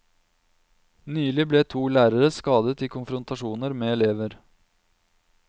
Nylig ble to lærere skadet i konfrontasjoner med elever.